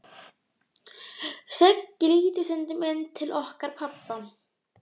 Siggi lítur stundum inn til okkar pabba.